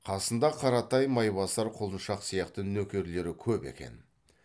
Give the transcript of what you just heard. қасында қаратай майбасар құлыншақ сияқты нөкерлері көп екен